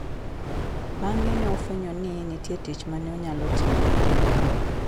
Bang'e ne ofwenyo ni ne nitie tich ma ne onyalo timo e kindeno.